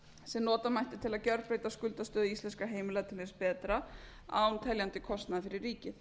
sem nota mætti til að gjörbreyta skuldastöðu íslenskra heimila til hins betra án teljandi kostnaðar fyrir ríkið